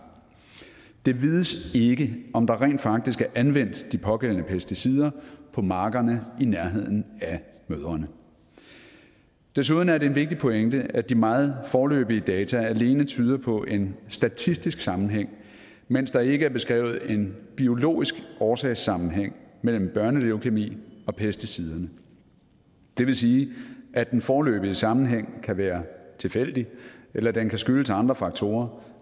det vides ikke om der rent faktisk er anvendt de pågældende pesticider på markerne i nærheden af mødrene desuden er det en vigtig pointe at de meget foreløbige data alene tyder på en statistisk sammenhæng mens der ikke er beskrevet en biologisk årsagssammenhæng mellem børneleukæmi og pesticiderne det vil sige at den foreløbige sammenhæng kan være tilfældig eller at den kan skyldes andre faktorer